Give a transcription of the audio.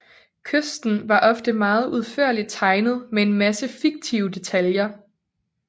Kysten var ofte meget udførligt tegnet med en masse fiktive detaljer